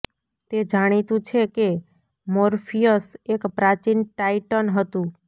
તે જાણીતું છે કે મોર્ફિયસ એક પ્રાચીન ટાઇટન હતું